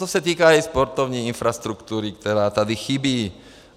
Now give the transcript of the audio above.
To se týká i sportovní infrastruktury, která tady chybí.